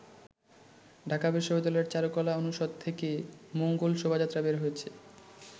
ঢাকা বিশ্ববিদ্যালয়ের চারুকলা অনুষদ থেকে মঙ্গল শোভাযাত্রা বের হয়েছে।